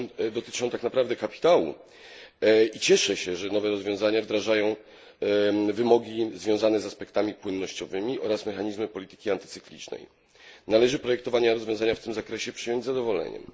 dotyczą tak naprawdę kapitału i cieszę się, że nowe rozwiązania wdrażają wymogi związane z aspektami płynnościowymi oraz mechanizmy polityki antycyklicznej. Proponowane rozwiązania w tym zakresie należy przyjąć z zadowoleniem.